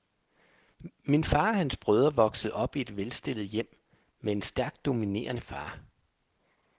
Min far og hans brødre voksede op i et velstillet hjem med en stærkt dominerende far.